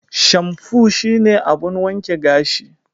Shamfu shine abun wanke gashi.